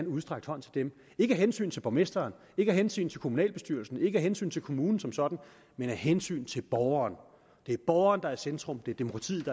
udstrakt hånd til dem ikke af hensyn til borgmesteren ikke af hensyn til kommunalbestyrelsen ikke af hensyn til kommunen som sådan men af hensyn til borgeren det er borgeren der er i centrum det er demokratiet